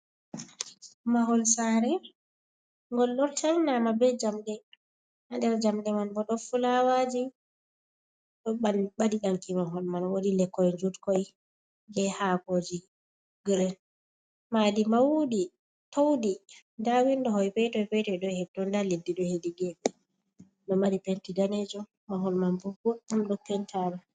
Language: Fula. Mahol sare ngol ɗo tarnama be jamɗe ha nder jamɗe man bo ɗo fulawaji ɗo ɓadi danki, mahol man wodi lekkoi jutkoi je hakoji gren, madi maundi taundi nda windo woi peton peton ɗo hetonda leddi ɗo hedi geɓe ɗo mari penti danejum mahol man bubbo ɗom do pentama.